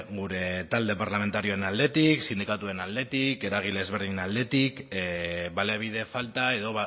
gure talde parlamentarioaren aldetik sindikatuen aldetik eragile ezberdinen aldetik baliabide falta edo